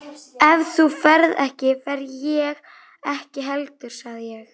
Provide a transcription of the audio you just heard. Ef þú ferð ekki, fer ég ekki heldur sagði ég.